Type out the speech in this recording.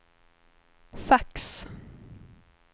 fax